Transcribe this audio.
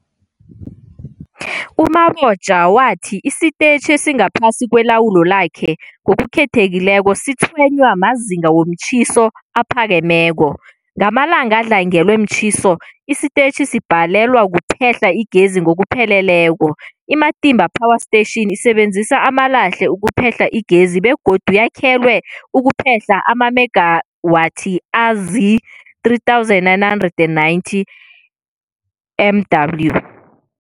U-Mabotja wathi isitetjhi esingaphasi kwelawulo lakhe, ngokukhethekileko, sitshwenywa mazinga womtjhiso aphakemeko. Ngamalanga adlangelwe mtjhiso, isitetjhi sibhalelwa kuphehla igezi ngokupheleleko. I-Matimba Power Station isebenzisa amalahle ukuphehla igezi begodu yakhelwe ukuphehla amamegawathi azii-3990 MW.